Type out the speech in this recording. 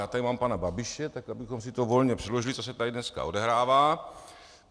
Já tady mám pana Babiše, tak abychom si to volně přeložili, co se tady dneska odehrává.